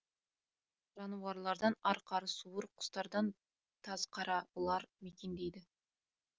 жануарлардан арқар суыр құстардан тазқара ұлар мекендейді